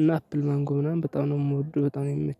እና አፕል ማንጎ ምናምን በጣም ነው የምወደው በጣም